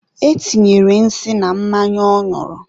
e tinyere nsị na mmanya ọ ñụrụ.